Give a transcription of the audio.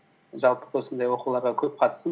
жалпы осындай оқуларға көп қатыстым